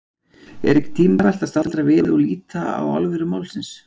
Er ekki tímabært að staldra við og líta á alvöru málsins?